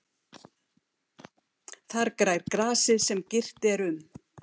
Þar grær grasið sem girt er um.